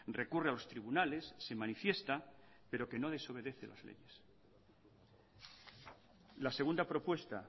recurre a los tribunales se manifiesta pero no desobedece las leyes la segunda propuesta